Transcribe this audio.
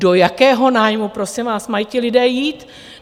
Do jakého nájmu, prosím vás, mají ti lidé jít?